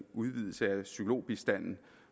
udvidelse af psykologbistand